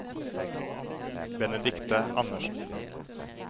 Benedicte Anderssen